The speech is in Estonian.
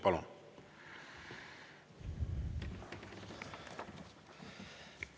Palun!